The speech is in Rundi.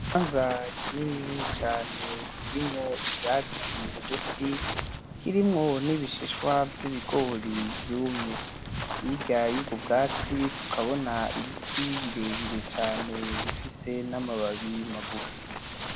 Ikibanza kinini cane kirimo ubwatsi bugufi kirimo nibishishwa vyibigori vyumye hirya yubwo vyatsi tukabona ibiti birebire cane bifise namababi magufi.